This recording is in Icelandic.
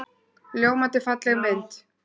Ljómandi falleg mynd.